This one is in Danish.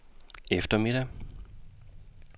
eftermiddag